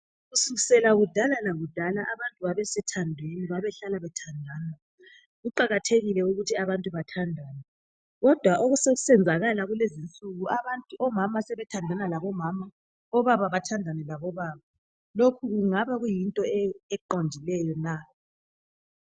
Kusukisela kudala lakudala abantu babesemathandweni babehlala bethandana kuqakathekile ukuthi abantu bathandane kodwa okwenzekala kulezi nsuku omama bathandana labomama obaba bathandana labobaba lokhu kungabe kuyinto eqondileyo na?